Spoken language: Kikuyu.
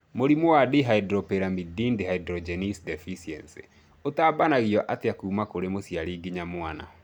Mũrimũ wa Dihydropyrimidine dehydrogenase deficiency ũtambanagio atĩa kuma kũrĩ mũciari nginya mwana?